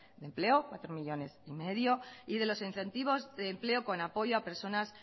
de empleo cuatro coma cinco millónes de euros de los incentivos de empleo con apoyo a personas